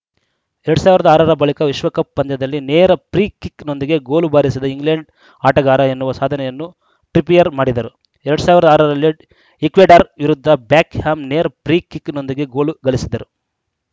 ಎರಡ್ ಸಾವಿರದ ಆರ ರ ಬಳಿಕ ವಿಶ್ವಕಪ್‌ ಪಂದ್ಯದಲ್ಲಿ ನೇರ ಫ್ರೀ ಕಿಕ್‌ನೊಂದಿಗೆ ಗೋಲು ಬಾರಿಸಿದ ಇಂಗ್ಲೆಂಡ್‌ ಆಟಗಾರ ಎನ್ನುವ ಸಾಧನೆಯನ್ನು ಟ್ರಿಪಿಯರ್‌ ಮಾಡಿದರು ಎರಡ್ ಸಾವಿರದ ಆರ ರಲ್ಲಿ ಈಕ್ವೆಡಾರ್‌ ವಿರುದ್ಧ ಬೆಕ್‌ಹ್ಯಾಮ್‌ ನೇರ ಫ್ರೀ ಕಿಕ್‌ನೊಂದಿಗೆ ಗೋಲು ಗಳಿಸಿದ್ದರು